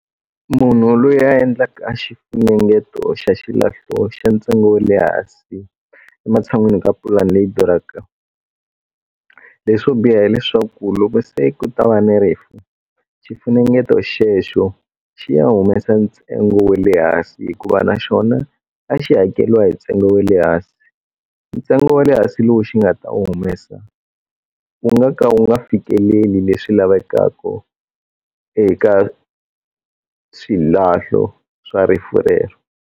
Munhu loyi a endlaka a xifunengeto xa xilahlo xa ntsengo wa le hansi ematshan'wini ka pulani leyi duraka leswo biha hileswaku loko se ku ta va ni rifu xifunengeto xexo xi ya humesa ntsengo wa le hansi hikuva naxona a xi hakeriwa hi ntsengo wa le hansi ntsengo wa le hansi lowu xi nga ta wu humesa u nga ka u nga fikeleli leswi lavekaku eka swilahlo swa rifu rero.